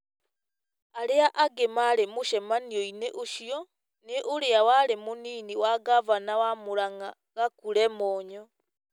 Arĩa angĩ maarĩ mũcemanio-inĩ ũcio nĩ ũrĩa warĩ mũnini wa ngavana wa Mũrangá Gakure Monyo,